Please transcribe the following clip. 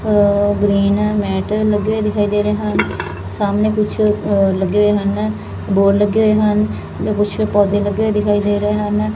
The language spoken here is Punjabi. ਆ ਗਰੀਨ ਮੈਟਲ ਲੱਗੇ ਹੋਏ ਦਿਖਾਈ ਦੇ ਰਹੇ ਹਨ ਸਾਹਮਣੇ ਕੁਛ ਲੱਗੇ ਹੋਏ ਹਨ ਬੋਰਡ ਲੱਗੇ ਹੋਏ ਹਨ ਤੇ ਕੁਛ ਪੌਦੇ ਲੱਗੇ ਦਿਖਾਈ ਦੇ ਰਹੇ ਹਨ।